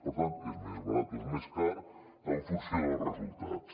per tant és més barat o és més car en funció dels resultats